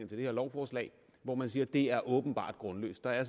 det her lovforslag hvor man siger at det er åbenbart grundløst der er